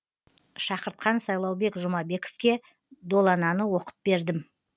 шақыртқан сайлаубек жұмабековке долананы оқып бердім